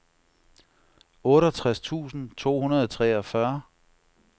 otteogtres tusind to hundrede og treogfyrre